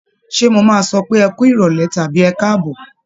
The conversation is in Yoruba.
Ṣé mo máa sọ pé ẹ kú ìrọ̀lẹ́ tàbí ẹ káàbọ̀?